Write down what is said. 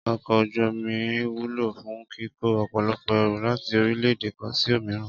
Ọkọ̀ ojú omi wúlò fún kíkó ọ̀pọ̀lọpọ̀ ẹrù láti orílẹ̀-èdè kan sí òmíràn